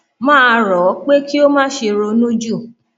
mà á rọ ọ pé kí o má ṣe ronú jù